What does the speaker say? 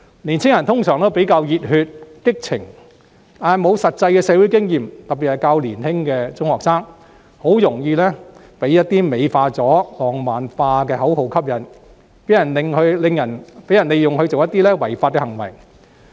年青人通常比較熱血、激情，但欠缺實際社會經驗，特別是較年輕的中學生，很容易被一些經過美化和浪漫化的口號吸引，被人利用作一些違法的行為。